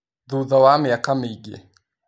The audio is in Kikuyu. Thutha wa mĩaka mĩingĩ